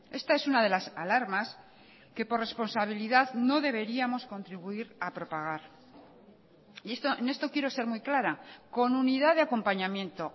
esta es una de las alarmas que por responsabilidad no deberíamos contribuir a propagar y en esto quiero ser muy clara con unidad de acompañamiento